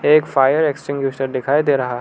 एक fire extinguisher दिखाई दे रहा--